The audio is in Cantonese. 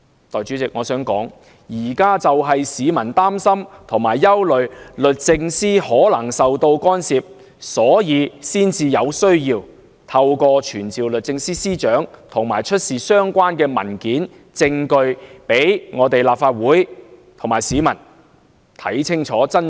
代理主席，我想指出，現在市民就是擔心和憂慮律政司可能受到干涉，才認為有需要透過傳召律政司司長，出示相關文件和證據，讓立法會和市民有機會看清楚真相。